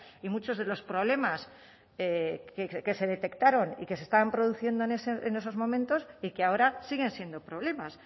y muchos de los problemas que se detectaron y que se estaban produciendo en esos momentos y que ahora siguen siendo problemas